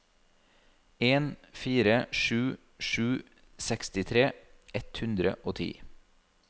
en fire sju sju sekstitre ett hundre og ti